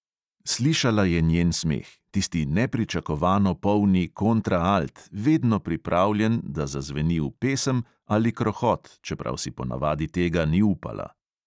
Slišala je njen smeh, tisti nepričakovano polni kontraalt, vedno pripravljen, da zazveni v pesem ali krohot, čeprav si ponavadi tega ni upala.